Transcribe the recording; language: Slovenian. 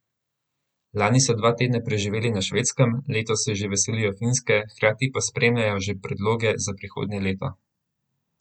Lani so dva tedna preživeli na Švedskem, letos se že veselijo Finske, hkrati pa sprejemajo že predloge za prihodnje leto.